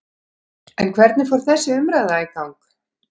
En hvernig fór þessi umræða í gang?